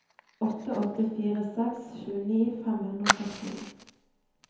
åtte åtte fire seks tjueni fem hundre og førtini